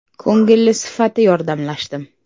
Ko‘ngilli sifati yordamlashdim.